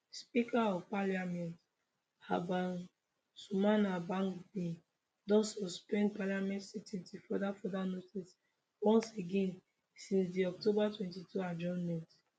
speaker of parliament alban sumana bagbin don suspend parliament sitting till further further notice once again since di october 22 adjournment